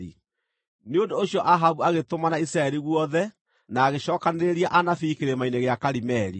Nĩ ũndũ ũcio Ahabu agĩtũmana Isiraeli guothe na agĩcookanĩrĩria anabii Kĩrĩma-inĩ gĩa Karimeli.